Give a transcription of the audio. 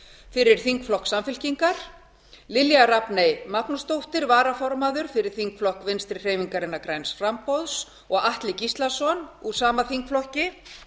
fyrir þingflokk samfylkingar lilja rafney magnúsdóttir varaformaður fyrir þingflokk vinstri hreyfingarinnar græns framboðs og atli gíslason úr sama þingflokki